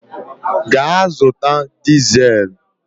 Gaa zụta dizel!